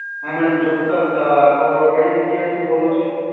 હા madam ચોક્કસ, આપ કઈ જગ્યા થી બોલો છો?